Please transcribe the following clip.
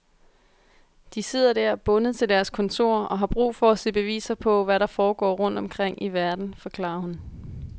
De sidder der bundet til deres kontor og har brug for at se beviser på, hvad der foregår rundt omkring i verden, forklarer hun.